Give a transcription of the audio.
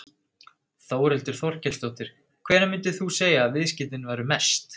Þórhildur Þorkelsdóttir: Hvenær myndir þú segja að viðskiptin væru mest?